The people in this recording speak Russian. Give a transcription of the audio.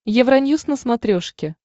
евроньюс на смотрешке